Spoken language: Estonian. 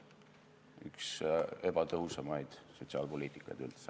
See on üks ebatõhusamaid sotsiaalpoliitikaid üldse.